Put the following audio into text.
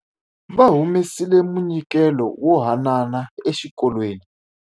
Va humesile munyikelo wo haanana exikolweni.